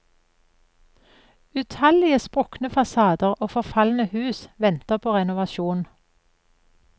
Utallige sprukne fasader og forfalne hus venter på renovasjon.